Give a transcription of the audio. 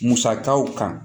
Musakaw kan